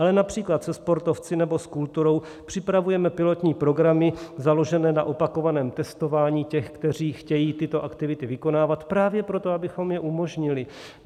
Ale například se sportovci nebo s kulturou připravujeme pilotní programy založené na opakovaném testování těch, kteří chtějí tyto aktivity vykonávat, právě proto, abychom je umožnili.